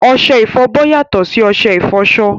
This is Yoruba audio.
Ọṣẹ ìfọbọ́ yàtọ̀ sí ọṣẹ ìfọṣọ